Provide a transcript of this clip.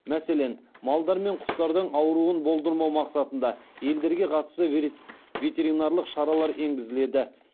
мәселен малдар мен құстардың ауруын болдырмау мақсатында елдерге қатысты ветеринарлық шаралар енгізіледі